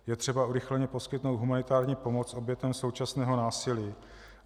Je třeba urychleně poskytnout humanitární pomoc obětem současného násilí.